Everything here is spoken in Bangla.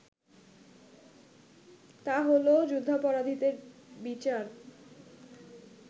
তা হলো যুদ্ধাপরাধীদের বিচার